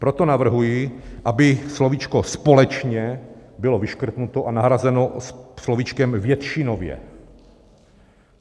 Proto navrhuji, aby slovíčko "společně" bylo vyškrtnuto a nahrazeno slovíčkem "většinově".